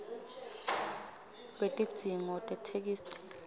lwetidzingo tetheksthi